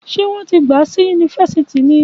Ṣé wọn ti gba si yunifásítì ní?